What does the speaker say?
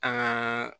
Aa